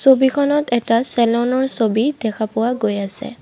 ছবিখনত এটা চেলনৰ ছবি দেখা পোৱা গৈ আছে।